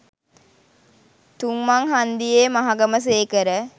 තුංමං හංදියේ මහගම සේකර